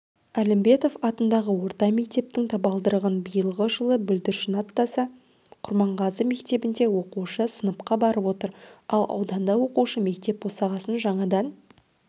әлімбетов атындағы орта мектептің табалдырығын биылғы жылы бүлдіршін аттаса құрманғазы мектебінде оқушы сыныпқа барып отыр ал ауданда оқушы мектеп босағасын жаңадан